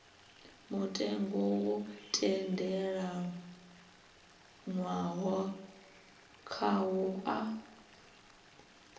mutengo wo tendelanwaho khawo a